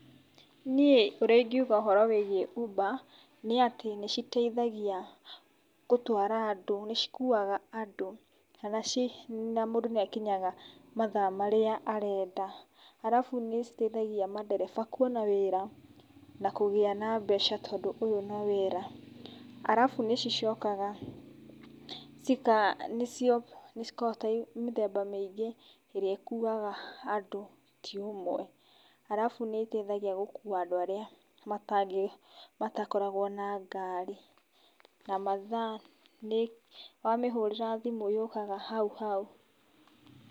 Niĩ ũrĩa ingiuga ũhoro wĩgiĩ uber nĩ atĩ nĩ citeithagia gũtwara andũ, nĩ cikuaga andũ na mũndũ nĩ akinyaga mathaa marĩa arenda. Arabu nĩ citeithagia mandereba kwona wĩra na kũgĩa na mbeca tondũ ũyũ no wĩra. Arabu nĩ cicokaga cikaa, nĩ cikoragwo cicia mĩthemba mĩingĩ ĩrĩa ĩkuaga andũ ti ũmwe. Arabu nĩ iteithagia gũkua andũ arĩa matangĩ, matakoragwo na ngari. Na mathaa nĩ, wamĩhũrĩra thimũ yũkaga hauhau.